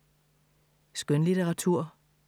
Skønlitteratur